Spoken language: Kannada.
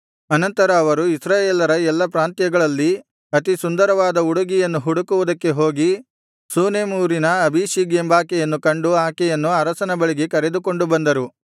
ಆನಂತರ ಅವರು ಇಸ್ರಾಯೇಲರ ಎಲ್ಲಾ ಪ್ರಾಂತ್ಯಗಳಲ್ಲಿ ಅತಿ ಸುಂದರಿಯಾದ ಹುಡುಗಿಯನ್ನು ಹುಡುಕುವುದಕ್ಕೆ ಹೋಗಿ ಶೂನೇಮ್ ಊರಿನ ಅಬೀಷಗ್ ಎಂಬಾಕೆಯನ್ನು ಕಂಡು ಆಕೆಯನ್ನು ಅರಸನ ಬಳಿಗೆ ಕರೆದುಕೊಂಡು ಬಂದರು